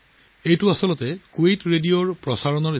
আচলতে ই কুৱেইট ৰেডিঅ'ৰ এটা সম্প্ৰচাৰৰ ক্লিপ